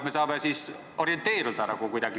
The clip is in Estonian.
Me saame siis orienteeruda kuidagi.